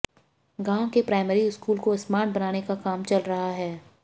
गांव के primary school को स्मार्ट बनाने का काम चल रहा है